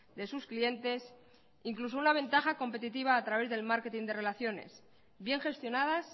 de sus clientes incluso una ventaja competitiva a través del marketing de relaciones bien gestionadas